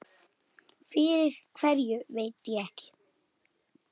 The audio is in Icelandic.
Fyrir hverju veit ég ekki.